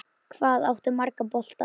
Hvað áttu marga bolta?